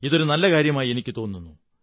ഇതൊരു നല്ലകാര്യമായി എനിക്കു തോന്നുന്നു